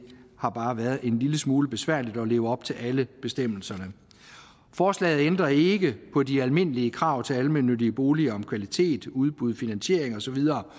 har bare været en lille smule besværligt at leve op til alle bestemmelserne forslaget ændrer ikke på de almindelige krav til almennyttige boliger om kvalitet udbud finansiering og så videre